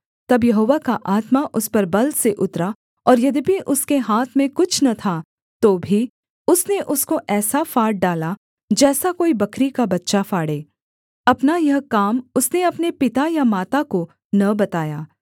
तब यहोवा का आत्मा उस पर बल से उतरा और यद्यपि उसके हाथ में कुछ न था तो भी उसने उसको ऐसा फाड़ डाला जैसा कोई बकरी का बच्चा फाड़े अपना यह काम उसने अपने पिता या माता को न बताया